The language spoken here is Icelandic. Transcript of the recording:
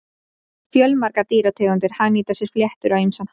Fjölmargar dýrategundir hagnýta sér fléttur á ýmsan hátt.